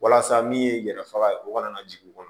Walasa min ye yɛrɛ faga ye o kana na jigin u kɔnɔ